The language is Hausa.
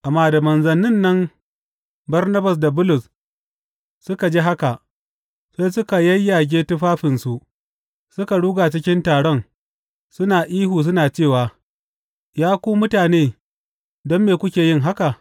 Amma da manzannin nan Barnabas da Bulus suka ji haka, sai suka yayyage tufafinsu suka ruga cikin taron, suna ihu suna cewa, Ya ku mutane, don me kuke yin haka?